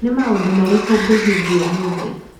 Nĩ maũndũ marĩkũ ngũhingia ũmũthĩ